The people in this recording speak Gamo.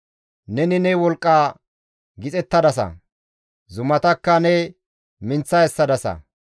Neni ne wolqqa gixettadasa; zumatakka ne minththa essadasa.